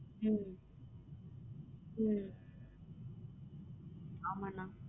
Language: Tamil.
உம் உம் ஆமா அண்ணா